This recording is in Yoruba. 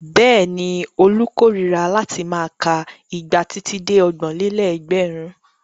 Bẹ́ẹ̀ni, Olú korira láti máa ka igba títí dé ọgbọ̀n-lé-lẹ́gbẹ̀rún.